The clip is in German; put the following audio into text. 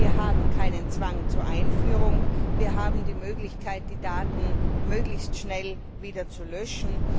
Wir haben keinen Zwang zur Einführung, wir haben die Möglichkeit, die Daten möglichst schnell wieder zu löschen.